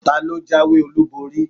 talo jawé olubori?